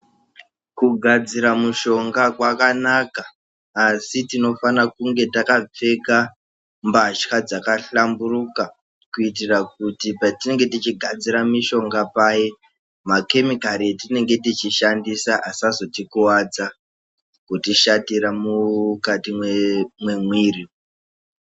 Kugadzira mushonga kwakanaka, asi tinofana kunge takapfeka mbatya dzakahlamburuka kuitira kuti patinenge tichigadzira mishonga paye, makhemikhari atinenge tichishandisa asazotikuwadza kutishatira mukati memwiri.